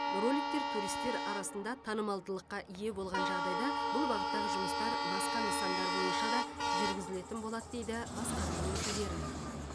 роликтер туристер арасында танымалдылыққа ие болған жағдайда бұл бағыттағы жұмыстар басқа нысандар бойынша да жүргізілетін болады дейді басқарма өкілдері